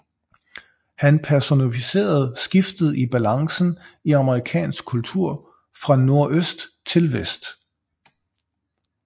Han personificerede skiftet i balancen i amerikansk kultur fra nordøst til vest